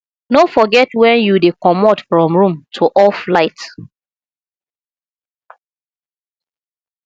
no forget when you dey comot from room to off light